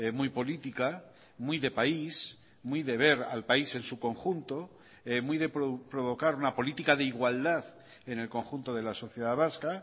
muy política muy de país muy de ver al país en su conjunto muy de provocar una política de igualdad en el conjunto de la sociedad vasca